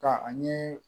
Ka ani